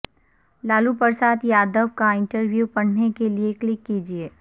لالو پرساد یادو کا انٹرویو پڑھنے کے لیے کلک کیجئے